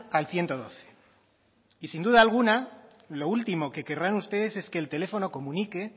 al ciento doce y sin duda alguna lo último que querrán ustedes es que el teléfono comunique